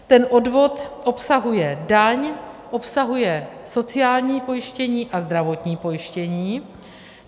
Ten odvod obsahuje daň, obsahuje sociální pojištění a zdravotní pojištění.